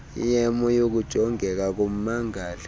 yemo yokujongeka kommangali